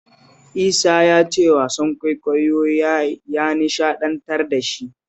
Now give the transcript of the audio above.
Isa ya ce wasan kwaikwayon ya nishaɗantar da shi sosai